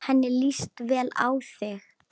Henni líst vel á þig.